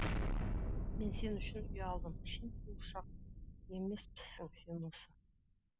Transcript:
мен сен үшін ұялдым шын қуыршақ емеспісің сен осы